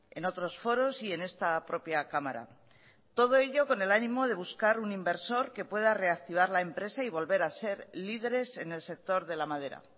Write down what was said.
en otros foros y en esta propia cámara todo ello con el ánimo de buscar un inversor que pueda reactivar la empresa y volver a ser líderes en el sector de la madera